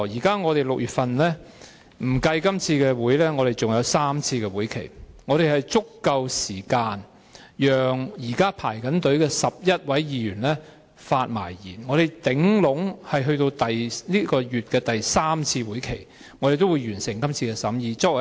在6月當中，不計今次的會議，我們還有3次會議，我們有足夠時間讓現正輪候的11位議員發言，而我們最遲也可以在6月第三次會議完成審議工作。